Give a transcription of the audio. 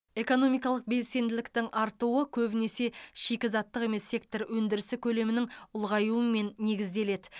экономикалық белсенділіктің артуы көбінесе шикізаттық емес сектор өндірісі көлемінің ұлғаюымен негізделеді